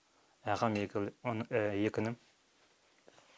ағам екі інім